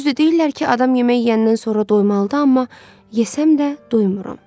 Düzdür, deyirlər ki, adam yemək yeyəndən sonra doymalıdır, amma yesəm də doymuram.